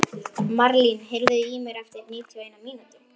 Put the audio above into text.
Marlín, heyrðu í mér eftir níutíu og eina mínútur.